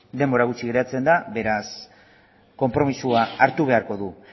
denbora gutxi geratzen da beraz konpromisoa hartu beharko du